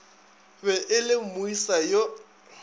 be e le moesa yo